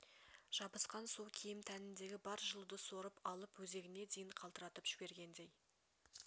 жабысқан су киім тәніндегі бар жылуды сорып алып өзегіне дейін қалтыратып жібергендей